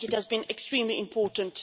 I think it has been extremely important.